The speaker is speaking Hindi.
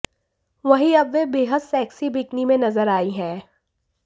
वहीं अब वे बेहद सेक्सी बिकिनी में नजर आई हैं